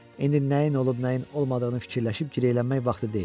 İndi nəyin olub, nəyin olmadığını fikirləşib girəylənmək vaxtı deyil.